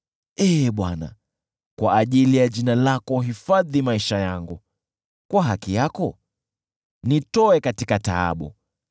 Ee Bwana , kwa ajili ya jina lako, hifadhi maisha yangu, kwa haki yako nitoe katika taabu.